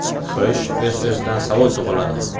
Xo‘sh, o‘z-o‘zidan savol tug‘iladi.